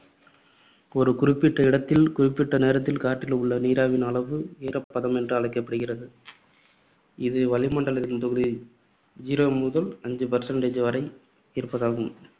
ஒரு குறிப்பிட்ட இடத்தில் குறிப்பிட்ட நேரத்தில் காற்றில் உள்ள நீராவியின் அளவு ஈரப்பதம் என்று அழைக்கப்படுகிறது. இது வளிமண்டலத்தின் zero முதல் அஞ்சு percent வரை இருப்பதாம்.